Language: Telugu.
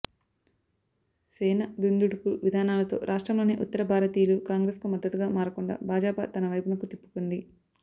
సేన దుందుడుకు విధానాలతో రాష్ట్రంలోని ఉత్తర భారతీయులు కాంగ్రెస్కు మద్దతుగా మారకుండా భాజపా తన వైపునకు తిప్పుకుంది